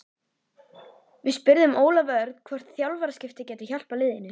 Við spurðum Ólaf Örn hvort þjálfaraskipti gætu hjálpað liðinu?